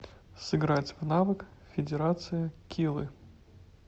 сыграть в навык федерация килы